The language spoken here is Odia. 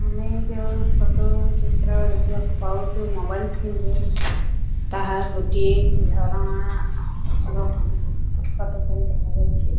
ଆମେ ଯେଉଁ ଫଟୋ ଚିତ୍ର ଦେଖିବାକୁ ପାଉଚୁ ମୋବାଇଲ୍ ସ୍କ୍ରିନ୍ ରେ ତାହା ଗୋଟିଏ ଝରଣାର ଫଟୋ ଚିତ୍ର ଫଟ ପରି ଦେଖାଯାଉଚି।